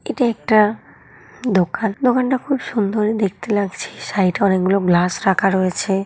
এটা একটা দোকান। দোকান টা খুব সুন্দর দেখতে লাগছে। সাইড এ অনেক গুলো গ্লাস রাখা রয়েছে।